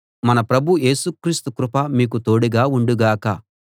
మన ప్రభు యేసు క్రీస్తు కృప మీకు తోడుగా ఉండుగాక